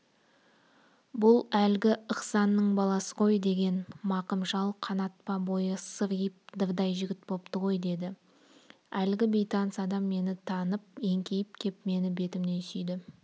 бұл әлгі ықсанның баласы ғой деген мақым шал қанат па бойы сыриып дырдай жігіт бопты ғой деді әлгі бейтаныс адам мені танып еңкейіп кеп мені бетімнен сүйді